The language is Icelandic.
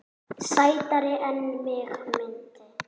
Sætari en mig minnti.